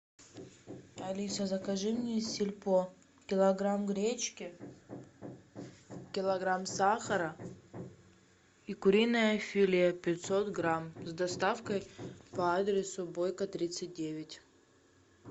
алиса закажи мне из сельпо килограмм гречки килограмм сахара и куриное филе пятьсот грамм с доставкой по адресу бойко тридцать девять